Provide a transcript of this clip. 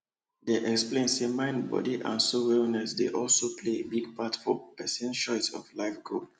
they explain say mind body and soul wellness dey also play a big part for person choice of life goal